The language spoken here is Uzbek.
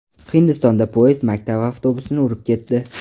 Hindistonda poyezd maktab avtobusini urib ketdi.